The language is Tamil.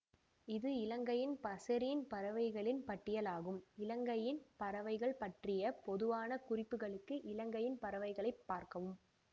இது இலங்கையின் பசரீன் பறவைகளின் பட்டியலாகும் இலங்கையின் பறவைகள் பற்றிய பொதுவான குறிப்புகளுக்கு இலங்கையின் பறவைகளை பார்க்கவும்